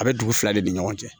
A bɛ dugu fila de ni ɲɔgɔn cɛ